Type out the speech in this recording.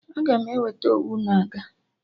Aga m eweta Owu na aga